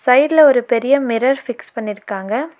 சைடுல ஒரு பெரிய மிரர் ஃபிக்ஸ் பண்ணிருக்காங்க.